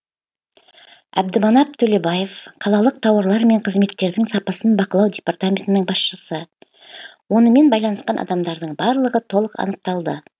әбдіманап төлебаев қалалық тауарлар мен қызметтердің сапасын бақылау департаментінің басшысы онымен байланысқан адамдардың барлығы толық анықталды